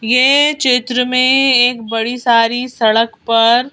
यह चित्र में एक बड़ी सारी सड़क पर--